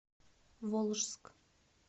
волжск